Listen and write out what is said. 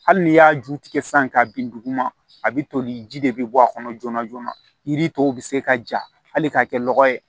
Hali n'i y'a ju tigɛ sisan k'a bin duguma a bi toli ji de bi bɔ a kɔnɔ joona joona yiri tɔw bi se ka ja hali ka kɛ lɔgɔ ye